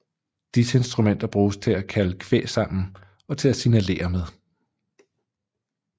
Disse instrumenter brugtes til at kalde kvæg sammen og til at signalere med